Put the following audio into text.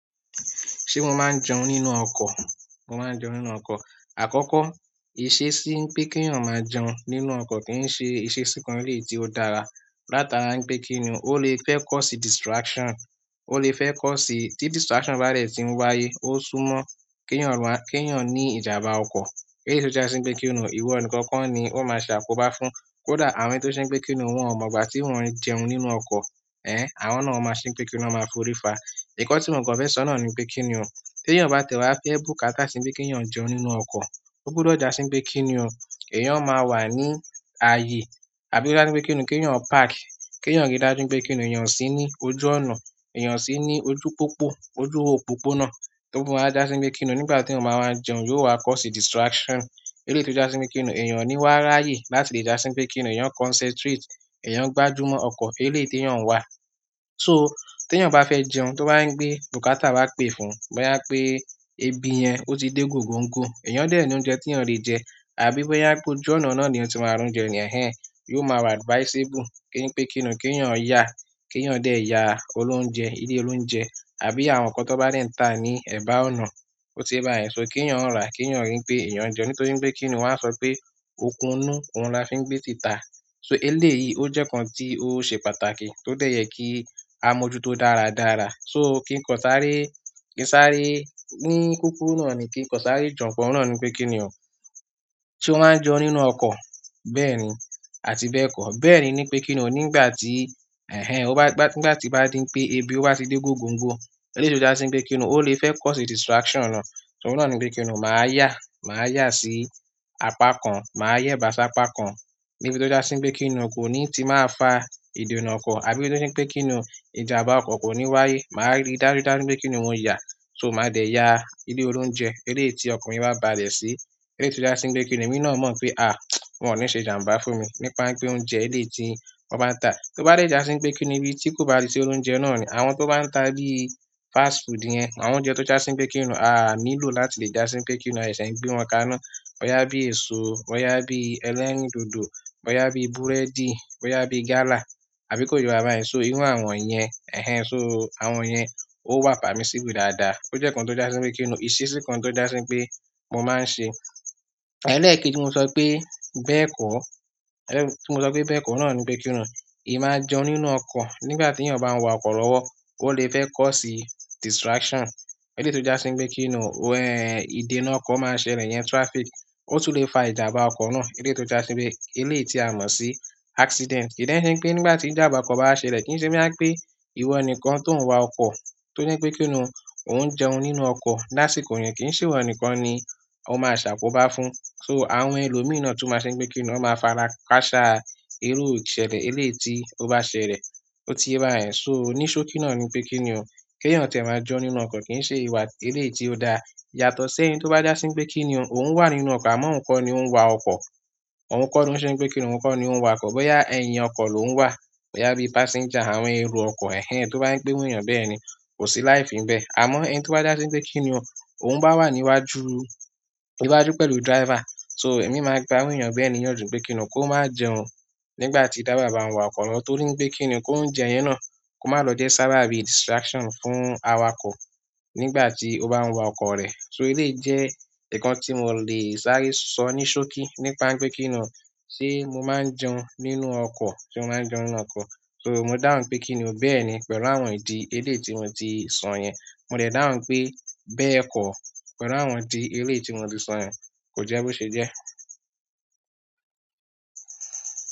Ṣé mo máa ń jẹun nínú ọkọ̀? Mo máa ń jẹun nínú ọkọ̀. Àkọ́kọ́, ìṣesí ń pé kí èèyàn máa jẹun nínú ọkọ̀ kì n ṣe ìṣesí kan eleyii tí ó dára. Látara n pé kíni òun lè fẹ́ cause distraction, ó lè fẹ́ cause-- tí distraction bá dẹ̀ tì ń wáyé, ó súnmọ́ kí èèyàn maa, kí èèyàn ní ìjàmbá ọkọ̀. Eléyii tò já sí wípé kíni o ìwọ nìkan ko ni ó máa ṣàkóbá fún. Kódà àwọn ẹni tó ṣe ń pé kíni o wọ́n ò mọ̀ ìgbà tíwo ń jẹun nínú ọkọ̀, ẹ́hn, àwọn náà won máa ṣe ń pé kíni wọ́n máa forí fa. Nǹkan tí mò n kàn fẹ́ sọ́nà ni pé kíni o, tí èèyàn bá tiẹ̀ wá fẹ́ bùkátà sí wípé kí èèyàn jẹun nínú ọkọ̀, ó gbodọ̀ já sí wípé kíni ò, èèyàn máa wà ní ààyè. Àbí ó já sí wípé kíni kèèyàn park, kèèyàn rí dájú wípé kíni èèyàn o ṣí ní ojú ọ̀nà, èèyàn o ṣí ní ojú pópó, ojú òpópónà. Tó fi wa já sí wípé kíni nígbà teeyan ba wa ń jẹun yóò wá cause distraction. Eléyii tò já sí wípé kíni èèyàn o ní wá ráyè láti lè já sí wípé kíni èèyàn concentrate, èèyàn gbájú mọ́ ọkọ̀ eléyii tèèyàn n wà. So teeyan ba fe jẹun, to ba n pe bukata wa pe fún boya pe ebi yen o ti de gogongo eeyan de ni oúnjẹ teeyan le je àbí boya pe ojú ọ̀nà náà leeyan ti maa ra oúnjẹ ni ehn ehn yóò maa wa advisable pe n pe kini o keeyan ya, keeyan de ya olounje ile olounje àbí àwọn nkan ton ba de n ta ni eba ọ̀nà. Ó ti ye báyẹ̀n sọ kí èèyàn rà, kí èèyàn ri n pé èèyàn jẹun. Nítorí n pé kíni wọ́n á sọ pé okun inú òun la fi ń gbé tìta. So eléyìí ó jẹ́ nkán tí ó ṣe pàtàkì, tó dẹ̀ yẹ kí a mọ̀ju tó dára dára. So kí n kan sáré, kí n sáré ní kúkúru náà ni kí n kan sáré je nkan oun náà ni pé kíni ò, se ó máa ń jẹun nínú ọkọ̀ bẹ́ẹ̀ni, àti bẹ́ẹ̀ kọ́. Bẹ́ẹ̀ni ni pé kíni ò nígbà tí, ẹ́hn, ẹ́hn, ó bá, nígbà tí bá di pé ebi ó bá ti dé gògòǹgò, eléyii tò já sí wípé kíni o ó lè fẹ́ cause distraction náà. Torí náà ni pe kini o, maa ya, maa ya si apa kan, maa yeba si apa kan. Níbi tí ó já sí wípé kíni ò kò ní ti máa fa ìdènà ọkọ̀, àbí ò já sí wípé kíni o ìjàmbá ọkọ̀ kò ní wáyé. Máa rí dajudaju wípé kíni ò mo yà, so máa dẹ̀ yà ilé olóúnjẹ eléyii ti ọkan mi bá balẹ̀ sí. Eléyii tò já sí npé kíni èmi náà mọ̀ pé àh, wọ́n ò ní ṣe jàmbá fún mi, nípa npé oúnjẹ eléyii ti wọ́n bá ń tà. To ba de ja si n pe kini ibi ti ko ba ti si olounje náà ni, àwọn to ba n ta bíi fast food yen, àwọn oúnjẹ to ja si n pe kini aa nílò láti le ja si n pe kini a sese n gbe won kaná boyá bí èso, boyá bí ẹlẹ́rìndòdò, boyá bí búrẹ́dì, boyá bí gálà, àbí kó ye wa báyìí sọ irú àwọn yẹn, ẹ́hn, ẹ́hn, so àwọn yẹn ó permissible dáadáa. Ó jẹ́ nkàn tó já sí wípé kíni ìṣesí kan tó já sí wípé mo máa ń ṣe. Ẹlẹ́ẹ̀keji tí mo sọ pé bẹ́ẹ̀ kọ́, ẹ́, tí mo sọ pé bẹ́ẹ̀ kọ́ oun náà ni pé kíni ò, èeyan o le máa jẹun nínú ọkọ̀ nígbà tí èèyàn bá ń wa ọkọ̀ lọ́wọ́, ó lè fẹ́ cause distraction. Eléyii tò já sí wípé kíni ò, ìdènà ọkọ̀ máa ṣẹlẹ̀ iyẹn traffic, ó tún lè fa ìjàmbá ọkọ̀ náà eléyii tò já sí wípé eléyii ti à mọ̀ sí accident. Ki de n se npe nígbà ti jamba oko ba a ṣẹlẹ̀, ki n se boya n pe iwo nìkan to n wa oko torí pe kini o o n jẹun nínú oko lásìkò ìgbà yen, ki n se iwo nìkan ni o maa sakoba fún so àwọn ẹlòmíi nà tun máa ṣe ń pé kíni òn máa fara káàṣà irú ìṣẹ̀lẹ̀ eléyii ti ó bá ṣẹlẹ̀. Ó ti ye bayen sọ ní ṣókí náà ni pé kíni ò, kí èèyàn tie maa jẹun nínú ọkọ̀ kì í ṣe ìwà eléyii ti ó dáa yàtọ̀ sí ẹni tó bá já sí wípé kíni ò, òun wà nínú ọkọ̀ àmọ́ òun kọ́ ni ó ń wa ọkọ̀. Òun kọ́ ni ó ṣe ń pé kíni òun kọ́ ni ó ń wa ọkọ̀. Bóyá ẹyin ọkọ̀ lòuń wà, bóyá bí passenger, àwọn ẹro ọkọ̀, ẹ́hn, ẹ́hn, tó bá ń pé iru eeyan bẹ́yẹ̀n ni, kò sí láífi nbẹ́. Àmọ́ ẹni tó bá já sí wípé kíni ò, òun bá wà níwájú, níwájú pẹ̀lú driver. So èmi máa ń gba iru eeyan bẹ́ẹ̀ niyanju pé kíni kó má jẹun nígbà tí driver bá ń wa ọkọ̀ lọ. Torí n pé kíni kóunjẹ yẹn náà kó má lọ jẹ́ sábabí distraction fún awakọ̀ nígbà tí ó bá ń wa ọkọ̀ rẹ̀. So eléyìí jẹ́ nkàn tí mò lè sáré sọ ní ṣókí nípa n pé kíni ò ṣe mo máa ń jẹun nínú ọkọ̀, se mo máa ń jẹun nínú ọkọ̀. So mo dáhùn pé kíni ò bẹ́ẹ̀ ni pẹ̀lú àwọn ìdí eléyii tí mò ti sọ yẹn. Mo de dáhùn npe bẹ́ẹ̀ ko pẹ̀lú àwọn idi eleyii ti mo ti so yen, ko je bo se je.